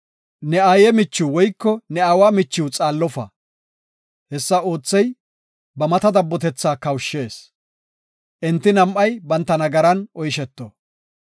“Ne aaye michiw woyko ne aawa michiw xaallofa; hessa oothey ba mata dabbotetha kawushshees. Enti nam7ay banta nagaran oysheto.